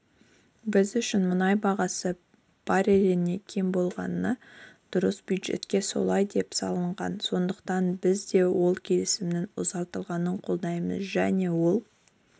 біз үшін мұнай бағасы барреліне кем болмағаны дұрыс бюджетке солай деп салынған сондықтан біз де ол келісімнің ұзартылғанын қолдаймыз және ол